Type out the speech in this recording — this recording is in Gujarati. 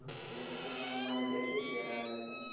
દસમાં મારે બ્યાશી PR આવેલા છે.